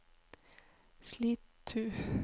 Slitu